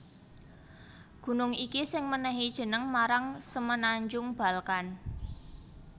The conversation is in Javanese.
Gunung iki sing mènèhi jeneng marang Semenanjung Balkan